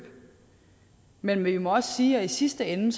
men vi må også sige at i sidste ende